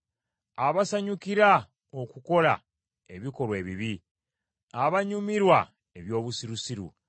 abasanyukira okukola ebikolwa ebibi, abanyumirwa eby’obusirusiru,